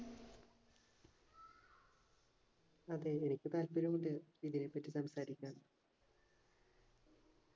അതെ എനിക്ക് താല്പര്യം ഉണ്ട് ഇതിനെപ്പറ്റി സംസാരിക്കാൻ